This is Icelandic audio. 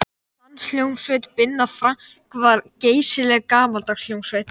Danshljómsveit Binna Frank var geysilega gamaldags hljómsveit.